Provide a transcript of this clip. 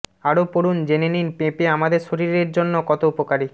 আরও পড়ুন জেনে নিন পেঁপে আমাদের শরীরের জন্য কত উপকারী